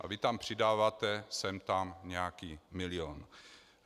A vy tam přidáváte sem tam nějaký milion.